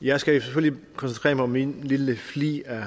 jeg skal selvfølgelig koncentrere mig om min lille flig af